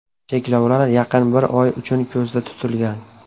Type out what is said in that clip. Cheklovlar yaqin bir oy uchun ko‘zda tutilgan.